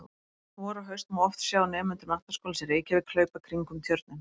Vor og haust má oft sjá nemendur Menntaskólans í Reykjavík hlaupa kringum Tjörnina.